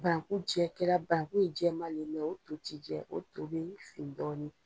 Banku jɛ kɛla banku ye jɛman le o to ti jɛ, o to bi fin dɔɔnin.